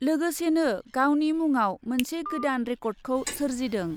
लोगोसेनो गावनि मुङाव मोनसे गोदान रेकर्डखौ सोरजिदों ।